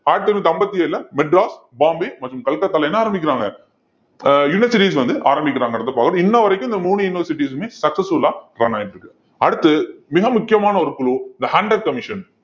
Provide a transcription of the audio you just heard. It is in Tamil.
ஆயிரத்தி அம்பத்தி ஏழுல மெட்ராஸ், பாம்பே மற்றும் கல்கத்தால என்ன ஆரம்பிக்கிறாங்க அஹ் universities வந்து ஆரம்பிக்கறாங்கன்றதை பார்க்கணும். இன்ன வரைக்கும், இந்த மூணு universities மே successful ஆ run ஆயிட்டிருக்கு அடுத்து மிக முக்கியமான ஒரு குழு the hunter commission